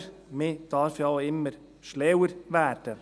Aber man darf ja auch immer schlauer werden.